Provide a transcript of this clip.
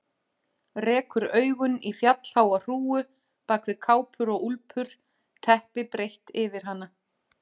Rekur augun í fjallháa hrúgu bak við kápur og úlpur, teppi breitt yfir hana.